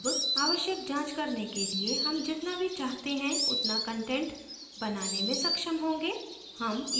अब आवश्यक जाँच करने के लिए हम जितना भी चाहते हैं उतना कंटेंट बनाने में सक्षम होंगे